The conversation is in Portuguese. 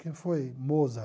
Quem foi Mozart?